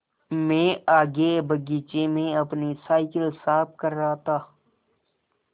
मैं आगे बगीचे में अपनी साईकिल साफ़ कर रहा था